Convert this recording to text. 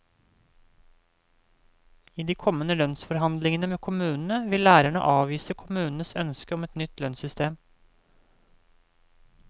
I de kommende lønnsforhandlingene med kommunene vil lærerne avvise kommunenes ønske om et nytt lønnssystem.